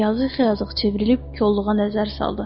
Yazıq-xıyazıq çevrilib kolluğa nəzər saldı.